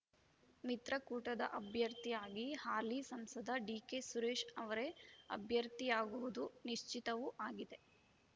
ಮಿತ್ರಕೂಟದ ಅಭ್ಯರ್ಥಿಯಾಗಿ ಹಾಲಿ ಸಂಸದ ಡಿಕೆ ಸುರೇಶ್‌ ಅವರೇ ಅಭ್ಯರ್ಥಿಯಾಗುವುದು ನಿಶ್ಚಿತವೂ ಆಗಿದೆ